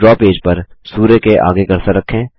draw page पर सूर्य के आगे कर्सर रखें